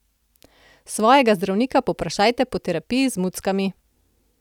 Svojega zdravnika povprašajte po terapiji z muckami.